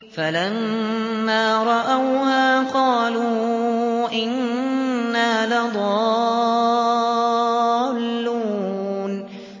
فَلَمَّا رَأَوْهَا قَالُوا إِنَّا لَضَالُّونَ